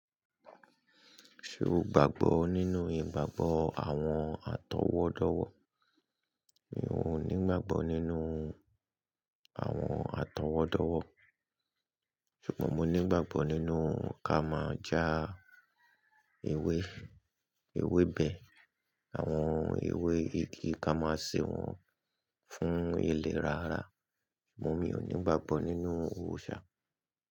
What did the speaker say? Ṣé o gbàgbọ́ nínú ìgbàgbọ́ àwọn àtọwọ́dọ̀wọ̀? Mi ò nígbàgbọ́ nínú àwọn àtọwọ́dọ̀wọ̀, ṣùgbọ́n mo nígbàgbọ́ nínú ká máa já ewé, ewébẹ̀, àwọn ewé igi ká máa ṣe wọ́n fún ilẹ̀ rara. Mo ní ò nígbàgbọ́ nínú òrìṣà.